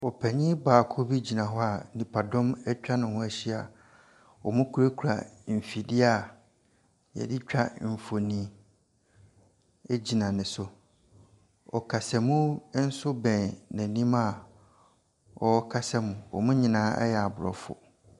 Ɔpanyin baako bi gyina hɔ a nnipadɔm atwa ne ho ahyia. Wɔkurakura mfidie a yɛde twa mfoni hgyina ne so. Ɔkasamu nso bɛn n'anim a ɔrekasa mu. Wɔn nyinaa yɛ Aborɔfo.